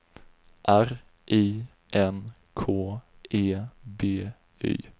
R I N K E B Y